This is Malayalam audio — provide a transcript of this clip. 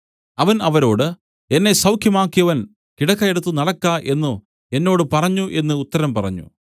അവൻ അവരോട് എന്നെ സൌഖ്യമാക്കിയവൻ കിടക്ക എടുത്ത നടക്ക എന്നു എന്നോട് പറഞ്ഞു എന്നു ഉത്തരം പറഞ്ഞു